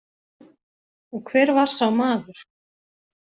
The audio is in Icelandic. Og hver var sá maður?